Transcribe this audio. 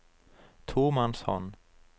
tomannshånd